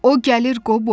O gəlir, Qobo.